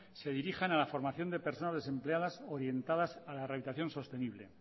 se dirijan a la formación de personas desempleadas orientadas a la rehabilitación sostenible